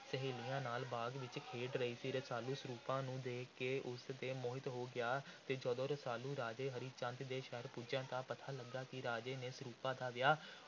ਸਹੇਲੀਆਂ ਨਾਲ ਬਾਗ਼ ਵਿਚ ਖੇਡ ਰਹੀ ਸੀ। ਰਸਾਲੂ ਸਰੂਪਾਂ ਨੂੰ ਦੇਖ ਕੇ ਉਸ ਤੇ ਮੋਹਿਤ ਹੋ ਗਿਆ ਅਤੇ ਜਦੋਂ ਰਸਾਲੂ ਰਾਜੇ ਹਰੀ ਚੰਦ ਦੇ ਸ਼ਹਿਰ ਪਹੁੰਚੀਆ, ਤਾਂ ਪਤਾ ਲੱਗਾ ਕਿ ਰਾਜੇ ਨੇ ਸਰੂਪਾਂ ਦਾ ਵਿਆਹ